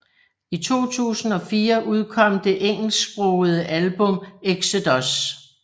I 2004 udkom det engelsksprogede album Exodus